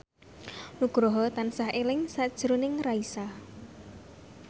Nugroho tansah eling sakjroning Raisa